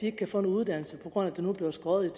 ikke kan få en uddannelse på grund af at der nu bliver skåret